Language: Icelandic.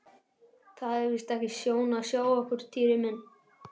Það er víst ekki sjón að sjá okkur Týri minn